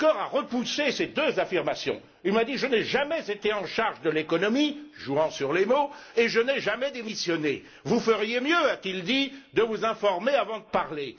Juncker a repoussé ces deux affirmations, il m'a dit Je n'ai jamais été chargé de l'économie jouant sur les mots et je n'ai jamais démissionné, vous feriez mieux de vous informer avant de parler.